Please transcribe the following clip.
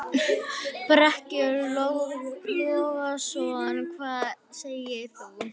Breki Logason: Hvað segir þú?